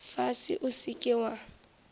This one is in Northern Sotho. fase o se ke wa